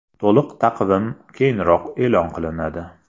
To‘liq taqvim keyinroq e’lon qilinadi.